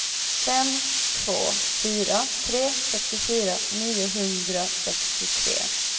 fem två fyra tre sextiofyra niohundrasextiotre